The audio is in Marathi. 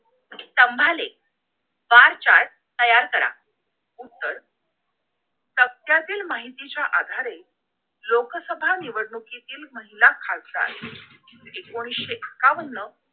स्तंभालेख bar chart तयार करा उत्तर सांध्यातील माहितीच्या आधारे लोकसभा निवडणुकीतील महिला खासदार एकोणीशे एकाव्वन्न